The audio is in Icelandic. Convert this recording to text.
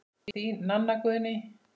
Þín, Nanna Guðný.